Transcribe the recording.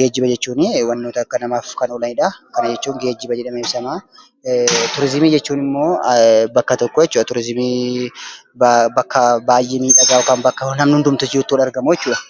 Geejiba jechuun wantoota namaaf oolanidha. Turiizimii jechuun immoo bakka tokko baayyeemiidhagaa bakka namni itti argamu jechuudha.